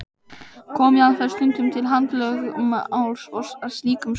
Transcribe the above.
Kom jafnvel stundum til handalögmáls af slíkum sökum.